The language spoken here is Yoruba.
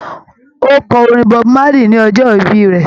Ó kọ orin Bob Marley ní ọjọ́ ìbí rẹ̀